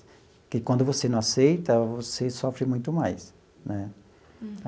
Porque quando você não aceita, você sofre muito mais, né?